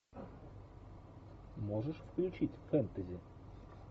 можешь включить фэнтези